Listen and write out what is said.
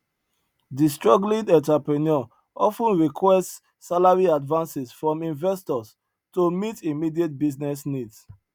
di struggling entrepreneur of ten requests salary advances from investors to meet immediate business needs